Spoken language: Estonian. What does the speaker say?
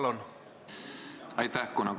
Aitäh!